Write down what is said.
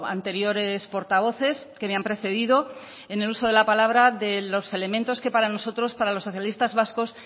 anteriores portavoces que me han precedido en el uso de la palabra de los elementos que para nosotros para los socialistas vascos